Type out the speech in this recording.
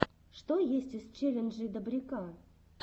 что есть из челленджей добряка